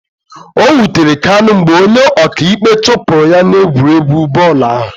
O wutere Kanu mgbe onye ọka ikpe chụpụrụ ya n'egwuregwu bọọlụ ahụ